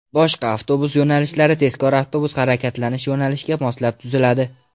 Boshqa avtobus yo‘nalishlari tezkor avtobus harakatlanish yo‘nalishiga moslab tuziladi.